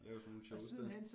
Lave sådan noogle shows dér